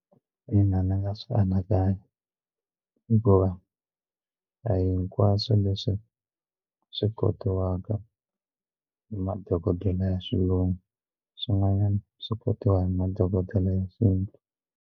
Ina, ndzi nga swi anakanya hikuva a hi hinkwaswo leswi swi kotiwaka hi madokodela ya xilungu swin'wanyana swi kotiwa hi madokodela ya xintu.